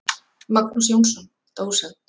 Magnús Jónsson, dósent.